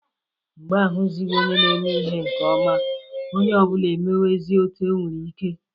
Mgbe a huzighi onye na-eme ihe nke oma onye obula emewezia otu o nwere ike.